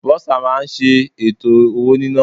Bursar máa ń ṣe ètò owó nina.